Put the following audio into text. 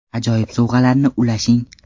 Ajoyib sovg‘alarni ulashing!